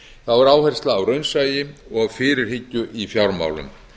þá er áhersla á raunsæi og fyrirhyggju í fjármálum